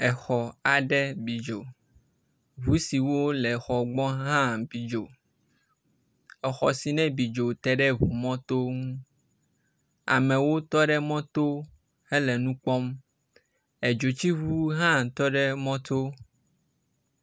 Exɔ aɖe bi dzo, ʋu siwo le xɔ gbɔ hã bi dzo. Exɔ si ne bi dzo teɖe eʋu mɔto ŋu. Amewo tɔɖe mɔto hele nukpɔm. Edzotsiʋu hã tɔ ɖe mɔto.